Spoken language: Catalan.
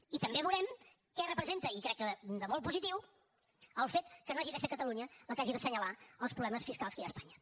i també veurem què representa i crec que de molt positiu el fet que no hagi de ser catalunya la que hagi d’assenyalar els problemes fiscals que hi ha a espanya